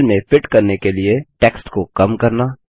cell में fit करने के लिए टेक्स्ट को कम करना